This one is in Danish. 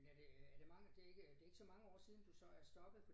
Men er det øh er det mange det ikke det ikke så mange år siden du så er stoppet